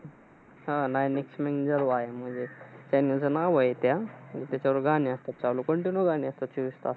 हा nine XM म्हणजे channel च नाव आहे त्या. त्याच्यावर गाणी असतात चालू. Continue गाणी असतात, चोवीस तास.